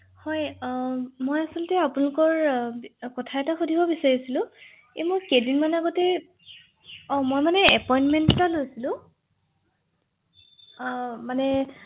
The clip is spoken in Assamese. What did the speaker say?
হয় হয়